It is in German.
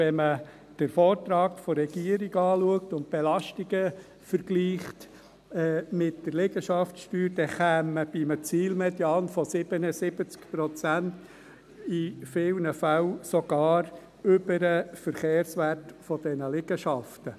Wenn man sich den Vortrag der Regierung anschaut und die Belastungen vergleicht mit der Liegenschaftssteuer, dann käme man bei einem Zielmedian von 77 Prozent in vielen Fällen sogar über den Verkehrswert dieser Liegenschaften.